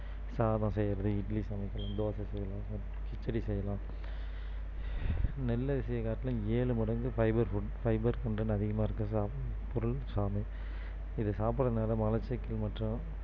சாதம் செய்யுறது இட்லி சமைக்கலாம் தோசை சுடலாம் கிச்சடி செய்யலாம் நெல்லு அரிசியை காட்டிலும் ஏழு மடங்கு fiber food fiber content அதிகமா இருக்கிறது பொருள் சாமை இத சாப்பிடுறதுனால மலச்சிக்கல் மற்றும்